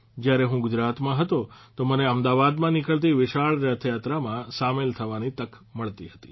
જયારે હું ગુજરાતમાં હતો તો મને અમદાવાદમાં નીકળતી વિશાળ રથયાત્રામાં સામેલ થવાની તક મળતી હતી